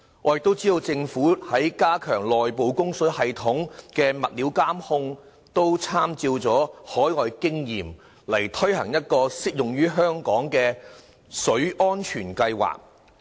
我亦知道政府在加強內部供水系統的物料監控方面參照海外經驗，推行適用於香港的"水安全計劃"。